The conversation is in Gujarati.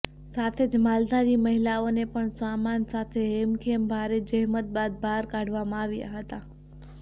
સાથે જ માલધારી મહિલાઓને પણ સામાન સાથે હેમખેમ ભારે જહેમત બાદ ભાર કાઢવામાં આવ્યા હતા